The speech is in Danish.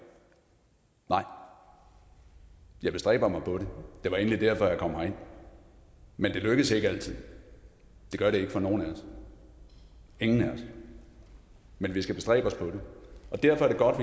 nej jeg bestræber mig på det det var egentlig derfor jeg kom herind men det lykkes ikke altid det gør det ikke for nogen af os ingen af os men vi skal bestræbe os på det og derfor er det godt